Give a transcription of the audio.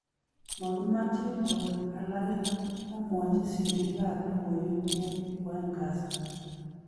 "Magimeche kobek alage", komwachi sirik ab logoywek eng kwaeng kasi